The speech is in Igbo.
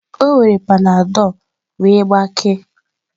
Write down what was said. O were panadol wee gbakee.